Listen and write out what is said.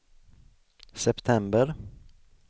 september